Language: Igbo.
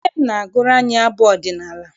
Nne m na-agụrụ anyị abụ ọdịnala.